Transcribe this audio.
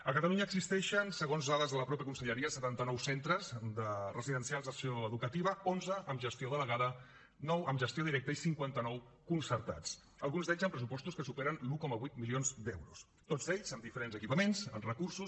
a catalunya existeixen segons dades de la mateixa conselleria setanta nou centres residencials d’acció educativa onze amb gestió delegada nou amb gestió directa i cinquanta nou de concertats alguns d’ells amb pressupostos que superen els un coma vuit milions d’euros tots ells amb diferents equipaments amb recursos